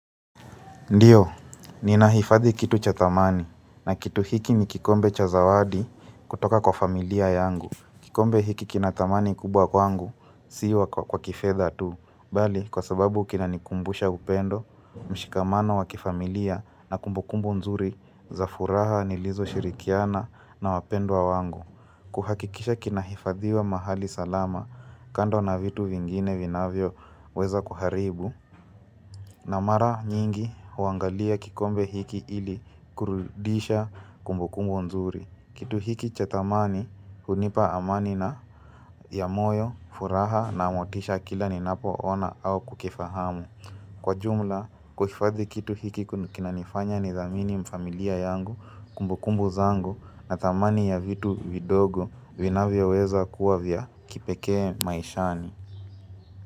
Ndiyo, ninahifadhi kitu cha thamani na kitu hiki ni kikombe cha zawadi kutoka kwa familia yangu. Kikombe hiki kinathamani kubwa kwangu, si kwa kifedha tu. Bali, kwa sababu kinanikumbusha upendo, mshikamano wa kifamilia na kumbukumbu nzuri za furaha nilizoshirikiana na wapendwa wangu. Kuhakikisha kinahifadhiwa mahali salama kando na vitu vingine vinavyoweza kuharibu. Na mara nyingi uangalia kikombe hiki ili kurudisha kumbukumbu nzuri. Kitu hiki cha thamani unipa amani ya moyo, furaha na motisha kila ninapo ona au kukifahamu. Kwa jumla, kuhifadhi kitu hiki kinanifanya nidhamini familia yangu kumbukumbu zangu na thamani ya vitu vidogo vinavyoweza kuwa vya kipekee maishani.